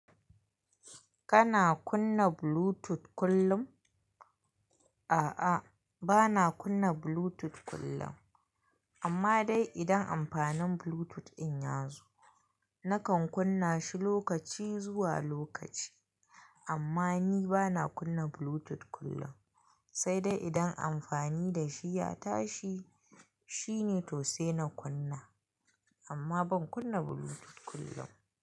Kana kunna Bluetooth kullum? A'a, bana kunna Bluetooth kullum. Amma dai idan amfanin Bluetooth in ya zo, nakan kunna shi lokaci zuwa lokaci. Amma ni bana kunna Bluetooth kullum. Sai dai idan amfani da shi ya tashi, shine to sai na kunna. Amma ban kunna Bluetooth kullum.